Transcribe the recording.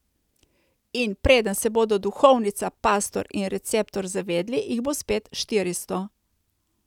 In preden se bodo duhovnica, pastor in receptor zavedli, jih bo spet štiristo.